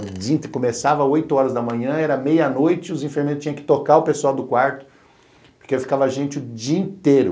O dia começava oito horas da manhã, era meia-noite, os enfermeiros tinham que tocar o pessoal do quarto, porque aí ficava gente o dia inteiro.